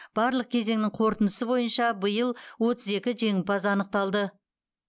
барлық кезеңнің қорытындысы бойынша биыл отыз екі жеңімпаз анықталды